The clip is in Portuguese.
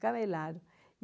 Camelaram.